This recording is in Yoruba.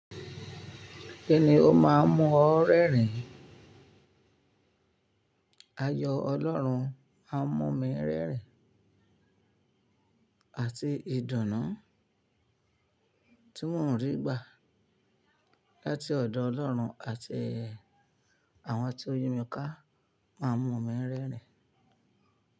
Kíni ó máa ń mú ọ rẹ́rìn? Ayọ̀ Ọlọ́run a mú mi rẹ́rìn àti ìdùnnú tí mò ń rí gbà láti ọ̀dọ̀ Ọlọ́run àti àwọn tí yí mi ká máa ń mú mi rẹ́rìn.